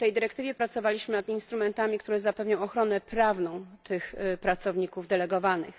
W tej dyrektywie pracowaliśmy nad instrumentami, które zapewnią ochronę prawną tych pracowników delegowanych.